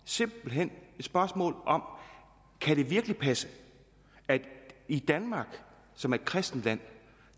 simpelt hen det spørgsmål kan det virkelig passe at der i danmark som er et kristent land